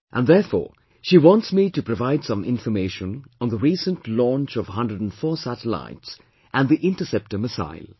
And therefore she wants me to provide some information on the recent launch of 104 satellites and the Interceptor Missile